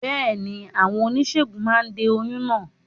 Bẹ́ẹ̀ni, àwọn oníṣègùn máa de oyún náà